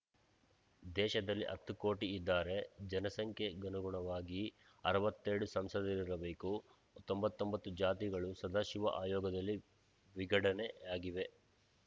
ದೇಶದಲ್ಲಿ ಹತ್ತು ಕೋಟಿಯಿದ್ದಾರೆ ಜನಸಂಖ್ಯೆಗನುಗುಣವಾಗಿ ಅರವತ್ತೆರಡು ಸಂಸದರಿರಬೇಕು ತೊಂಬತ್ತೊಂಬತ್ತು ಜಾತಿಗಳು ಸದಾಶಿವ ಆಯೋಗದಲ್ಲಿ ವಿಗಡಣೆಯಾಗಿವೆ